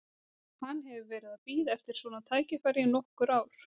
Hann hefur verið að bíða eftir svona tækifæri í nokkur ár.